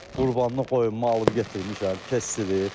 Qurbanlıq qoyunu mən alıb gətirmişəm, kəsdirib.